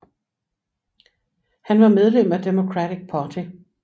Han var medlem af Democratic Party